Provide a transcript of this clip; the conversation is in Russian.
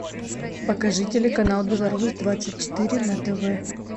покажи телеканал беларусь двадцать четыре на тв